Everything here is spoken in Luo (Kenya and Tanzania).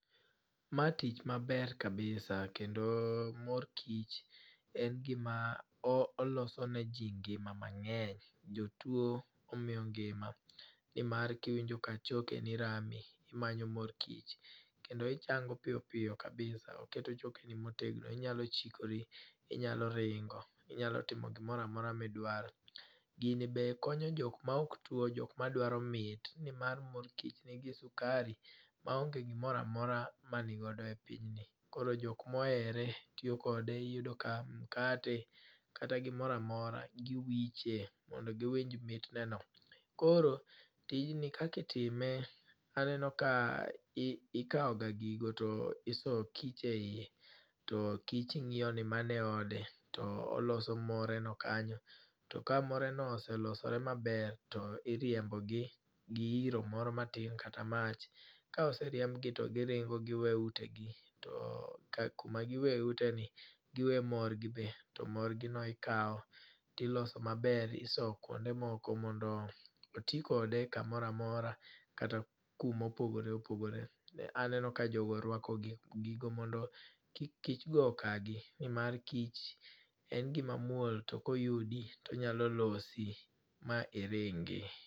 Ma tich maber kabisa kendo mor kich en gima oloso ne ji ngima mang'eny. Jotuo omiyo ngima, nima kiwinjo ka chokeni rami imanyo mor kich, kendo ichango piyo piyo kabisa. Oketo chokeni motegno, inyalo chikori, inyalo ringo. Inyalo timo gimoro amora midwaro. Gini be konyo jok ma ok tuo, jok ma dwaro mit nimar mor kich nigi sukari ma onge ginoro amora ma nigodo e pinyni. Koro jok mohere tiyokode. Iyudo ka mkate kata gomoro amora giwiche mondo giwinj mitne no. Koro tijni kaka itime aneno ka ikaw ga gigo to iso kich e yie to kich ng'iyo ni mano e ode to oloso more no kanyo. To ka moreno oselosore maber to iriombogi gi iro moro matin kata mach. Ka oeriembgi to giringo to giwe utegi. To kuma giwe ite ni giwe mor gi be. To mor gi no ikaw tiloso maber oso kuonde moko mondo oti kode kamoro amora kata kumopogore opogore. Aneno ka jogo rwako gigo mondo kik kich go ka gi nimar kich en gima muol to koyudi to onyalo losi ma iringi.